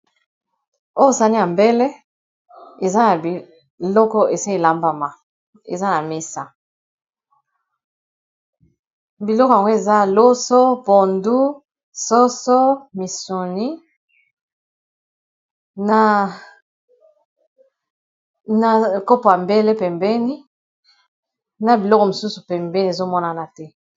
Oyo sani ya mbele eza na biloko esi elambama eza na mesa biloko yango eza loso, pondu, soso, misuni na kopo yambele pembeni na biloko mosusu pembeni ezomonana te.